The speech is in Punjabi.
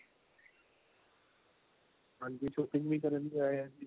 ਹਾਂਜੀ shopping ਵੀ ਕਰਨ ਲਈ ਆਏ ਆ ਜੀ